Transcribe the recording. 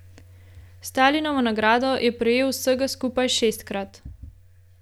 Stalinovo nagrado je prejel vsega skupaj šestkrat.